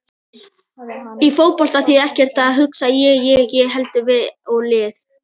Í fótbolta þýðir ekkert að hugsa ég- ég- ég heldur við og lið.